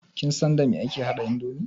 Kin san dame ake haɗa indomi?